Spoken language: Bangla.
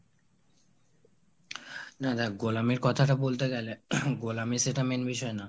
না দেখ গোলামীর কথাটা বলতে গেলে গোলামী সেইটা main বিষয় না